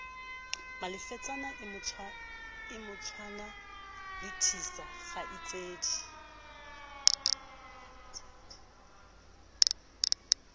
malefetsane e motshwana lethisa kgaitsedi